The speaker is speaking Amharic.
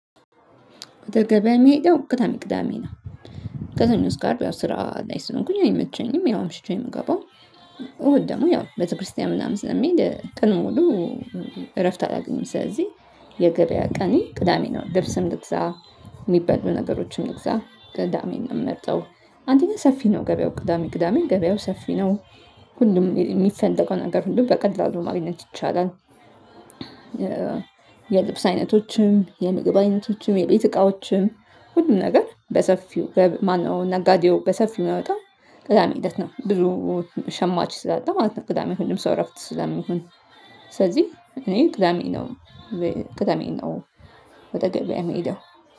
ወደ ገበያ መሄደው ግታም ቅዳሜ ነው። ከሰኞ አስከ አርብ ያው ስራ ላይ ስለሆንኩኝ አይመቸኝም ያው አምሽቼ የምገባው። እሁድ ደግሞ ያው ቤተክርስቲያን ምናምን ስለሚሄድ ቀን ሙሉ እረፍት አላገኝም። ስለዚህ የገበያ ቀኔ ቅዳሜ ነው ልብስም ልግዛ የሚበሉ ነገሮችም ልግዛ ቅዳሜን ነው የምመርጠው። አንደኛ ሰፊ ነው ገበያው ቅዳሜ ቅዳሜ ገበያው ሰፊ ነው። ሁሉም የሚፈለገውን ነገር ሁሉ በቀላሉ ማግኘት ይቻላል። የልብስ አይነቶችም የምግብ አይነቶችም የቤት እቃዎችም ሁሉም ነገር በሰፊው በማነው ነጋዴው በሰፊው የሚወጣው። ቅዳሜ ሂደት ነው ብዙ ሸማች ስላጣ ማለት ነው። ቅዳሜ ሁሉም ሰው እረፍት ስላሚሆን። ስለዚህ እኔ ቅዳሜ ነው። ቅደሜን ነው ወደ ገበያ የምሄደው